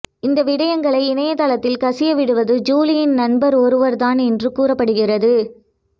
இந்த விடயங்களை இணைய தளத்தில் கசிய விடுவது ஜூலியின் நண்பர் ஒருவர்தான் என்று கூறப்படுகிறது